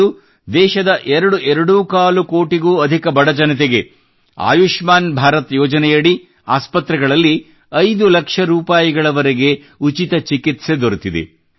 ಇಂದು ದೇಶದ ಎರಡೂಕಾಲು ಕೋಟಿಗೂ ಅಧಿಕ ಬಡಜನತೆಗೆ ಆಯುಷ್ಮಾನ್ ಭಾರತ್ ಯೋಜನೆಯಡಿ ಆಸ್ಪತ್ರೆಗಳಲ್ಲಿ 5 ಲಕ್ಷ ರೂಪಾಯಿವರೆಗೆ ಉಚಿತ ಚಿಕಿತ್ಸೆ ದೊರೆತಿದೆ